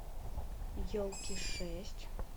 елки шесть